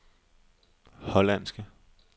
hollandske